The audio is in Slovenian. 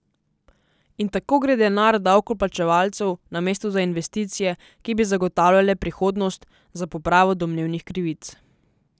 In tako gre denar davkoplačevalcev namesto za investicije, ki bi zagotavljale prihodnost, za popravo domnevnih krivic.